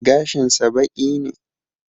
Gashin sa baƙi ne